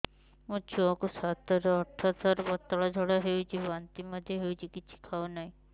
ମୋ ଛୁଆ କୁ ସାତ ରୁ ଆଠ ଥର ପତଳା ଝାଡା ହେଉଛି ବାନ୍ତି ମଧ୍ୟ୍ୟ ହେଉଛି କିଛି ଖାଉ ନାହିଁ